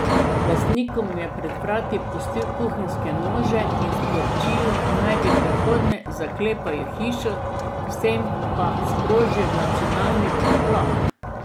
Lastnikom je pred vrati pustil kuhinjske nože in sporočilo, naj v prihodnje zaklepajo hišo, s tem pa sprožil nacionalni preplah.